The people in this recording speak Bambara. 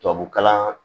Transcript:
Tubabukalan